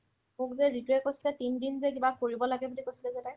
মোক যে জিতুয়ে কৈছিলে তিনদিন যে কিবা কৰিব লাগে বুলি কৈছিল যে তাই